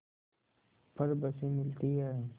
पर बसें मिलती हैं